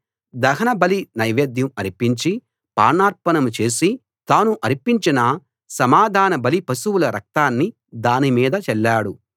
దహన బలి నైవేద్యం అర్పించి పానార్పణం చేసి తాను అర్పించిన సమాధానబలి పశువుల రక్తాన్ని దాని మీద చల్లాడు